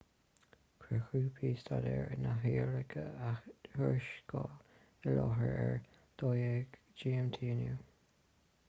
chuir grúpa staidéir na hiaráice a thuarascáil i láthair ar a 12.00 gmt inniu